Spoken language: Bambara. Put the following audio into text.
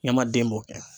Ɲamaden b'o kɛ